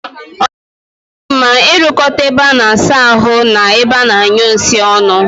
O naghi adi mma I rukota ebe a na-asa ahu na ebe a na-anyu nsi onu